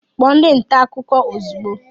Kpọọ ndị nta akụkọ ozugbo